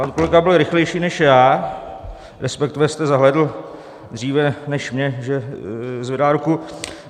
Pan kolega byl rychlejší než já, respektive jste zahlédl dříve než mě, že zvedá ruku.